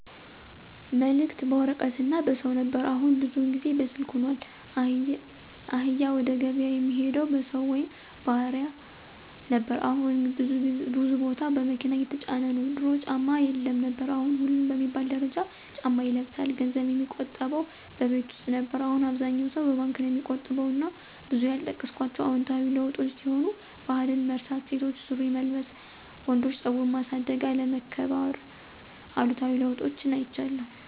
መልክት በወረቀት እና በሰው ነበር አሁን ብዙውን ጊዜ በስልክ ሁኗል፣ እህል ወደገብያ የሚሄደው በሰው ወይም ባህያ ነበር አሁን ብዙ ቦታ በመኪና እየተጫነ ነው፣ ድሮ ጫማ የለም ነበር አሁን ሁሉም በሚባል ደረጃ ጫማ ይለብሳል፣ ገንዘብ የሚቆጠበው በቤት ውስጥ ነበር አሁን አብዛኛው ሰው በባንክ ነው ሚቆጥብ እና ብዙ ያልጠቀስኳቸው አዎንታዊ ለዉጦች ሲሆኑ ባህልን መርሳት፣ ሴቶች ሱሪ መልበስ፣ ወንዶች ፀጉር ማሳደግ፣ አለመከባር ....አሉታዊ ለውጦችን አይቻለሁ።